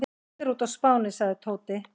Allir úti á Spáni sagði Tóti.